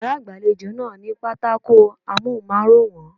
Yàrá ìgbàlejò náà ní pátákó Amóhùnmáwòrán.